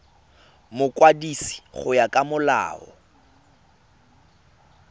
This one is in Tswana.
mokwadisi go ya ka molao